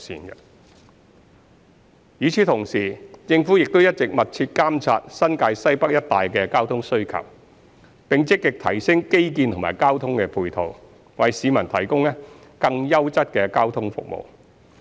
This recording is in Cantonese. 與此同時，政府亦一直密切監察新界西北一帶的交通需求，並積極提升基建及交通配套，為市民提供更優質的交通服務。